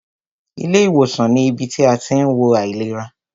Ilé ìwòsàn ní ibi tí a tí ń wo àìlera.